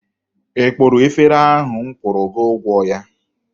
Ị kpụrụ efere ahụ m kwụrụ gị ụgwọ ya?